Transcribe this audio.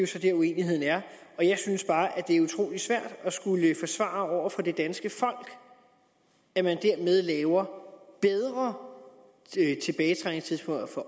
så dér uenigheden er jeg synes bare at det er utrolig svært at skulle forsvare over for det danske folk at man dermed laver bedre tilbagetrækningstidspunkter for